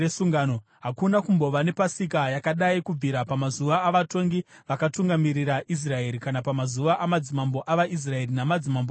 Hakuna kumbova nepasika yakadai kubvira pamazuva avatongi vakatungamirira Israeri kana pamazuva amadzimambo avaIsraeri, namadzimambo eJudha.